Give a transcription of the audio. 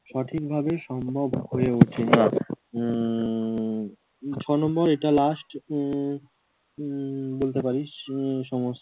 সঠিক ভাবে সম্ভব হয়ে ওঠেনা উম ছ নম্বর এটা last উম উম বলতে পারিস কি নিয়ে সমস্যা